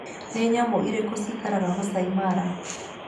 Nĩ nyamũ irĩkũ ciikaraga Maasai Mara?